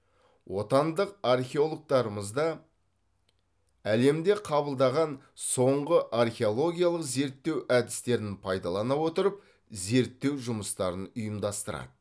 отандық археологтарымыз да әлемде қабылдаған соңғы археологиялық зерттеу әдістерін пайдалана отырып зерттеу жұмыстарын ұйымдастырады